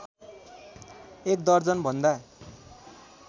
एक दर्जन भन्दा